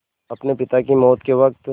अपने पिता की मौत के वक़्त